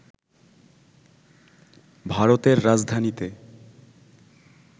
ভারতের রাজধানীতে